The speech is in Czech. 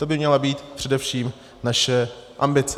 To by měla být především naše ambice.